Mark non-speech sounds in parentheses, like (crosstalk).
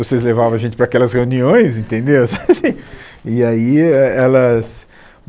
Vocês levavam a gente para aquelas reuniões, entendeu? (laughs) E aí elas...